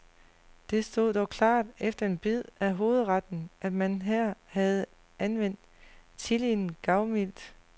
Det stod dog klart efter en bid af hovedretten, at man her havde anvendt chilien gavmildt.